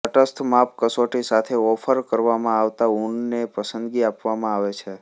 તટસ્થ માપ કસોટી સાથે ઓફર કરવામાં આવતા ઊનને પસંદગી આપવામાં આવે છે